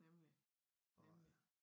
Nemlig nemlig